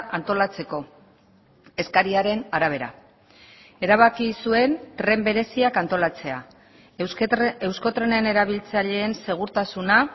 antolatzeko eskariaren arabera erabaki zuen tren bereziak antolatzea euskotrenen erabiltzaileen segurtasuna